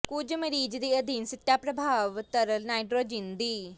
ਕੁਝ ਮਰੀਜ਼ ਦੇ ਅਧੀਨ ਸਿੱਟਾ ਪਰਭਾਵ ਤਰਲ ਨਾਈਟ੍ਰੋਜਨ ਦੀ